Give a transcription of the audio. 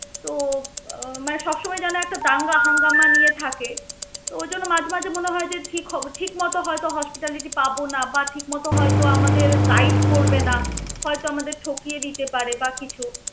তো উহ মানে সবসময় যেন একটা দাঙ্গা হাঙ্গামা নিয়ে থাকে. তো ওই জন্য মাঝে মাঝে মনে হয় যে ঠিক হবে না. ঠিকমত হয়ত hospitality পাবো না বা ঠিকমত হয়ত আমাদের guide করবে না. হয়ত আমাদের ঠকিয়ে দিতে পারে বা কিছু.